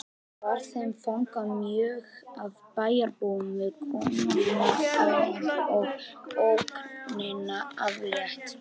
Var þeim fagnað mjög af bæjarbúum við komuna og ógninni aflétt